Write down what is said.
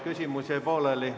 Küsimus jäi pooleli.